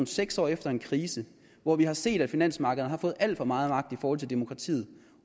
seks år efter en krise hvor vi har set at finansmarkederne har fået alt for meget magt i forhold til demokratiet